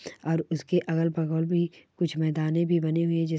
और इसकी अगल बगल भी कुछ मैदाने भी बनी हुई है। जिस --